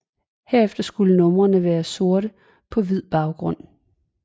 Herefter skulle numrene være sorte på hvid baggrund